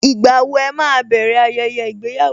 Ìgbà wo ẹ máa bẹ̀rẹ̀ ayẹyẹ ìgbéyàwó?